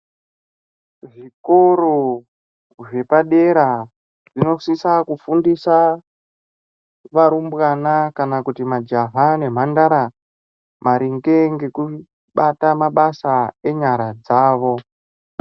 Zvikoro zvepadera zvinosisa kufundisa varumbwana kana kuti majaha nemhandara maringe ngekubata mabasa enyara dzavo.